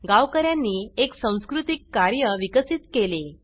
गावकऱ्यांनी एक संस्कृतीक कार्य विकसित केले